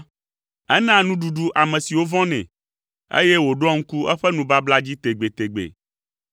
Enaa nuɖuɖu ame siwo vɔ̃nɛ, eye wòɖoa ŋku eƒe nubabla dzi tegbetegbe.